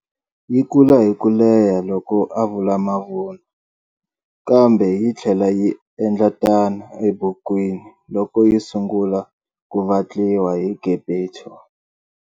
Yi kula hi ku leha loko a vula mavunwa, kambe yi tlhela yi endla tano ebukwini loko yi sungula ku vatliwa hi Geppetto.